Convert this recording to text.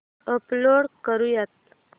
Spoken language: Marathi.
अपलोड करुयात